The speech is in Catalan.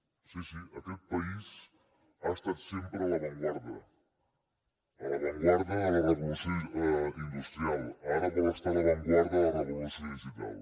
sí sí ha estat sempre a l’avantguarda a l’avantguarda de la revolució industrial ara vol estar a l’avantguarda de la revolució digital